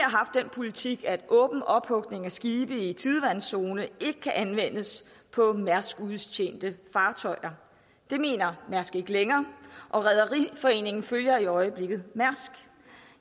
politik at åben ophugning af skibe i tidevandszone ikke kan anvendes på mærsks udtjente fartøjer det mener mærsk ikke længere og rederiforeningen følger i øjeblikket mærsk